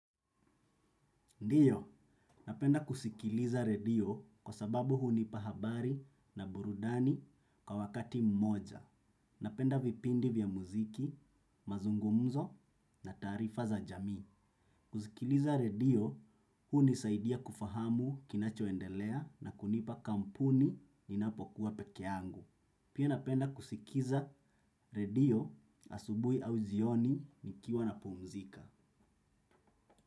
Ndiyo, napenda kusikiliza redio kwa sababu hunipa habari na burudani kwa wakati mmoja. Napenda vipindi vya muziki, mazungumzo na tarifa za jami. Kusikiliza redio, hunisaidia kufahamu kinachoendelea na kunipa kampuni ninapokuwa pekeyangu. Pia napenda kusikiza redio asubuhi au jioni nikiwa napumzika.